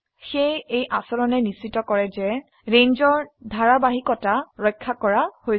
সেয়ে এই আচৰণে নিশ্চিত কৰে যে ৰেঞ্জৰ ধাৰাবাহিকতা ৰক্ষা কৰা হৈছে